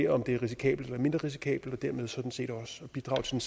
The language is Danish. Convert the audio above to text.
om det er risikabelt eller mindre risikabelt og dermed sådan set også bidrage til